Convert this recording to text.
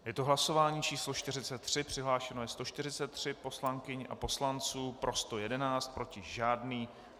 Je to hlasování číslo 43, přihlášeno je 143 poslankyň a poslanců, pro 111 , proti žádný.